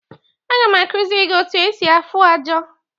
Aga m akuziri gi otu esi afụ ọjà.